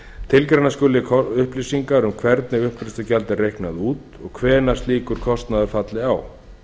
tilgreina skuli upplýsingar um hvernig uppgreiðslugjald er reiknað út og hvenær slíkur kostnaður falli á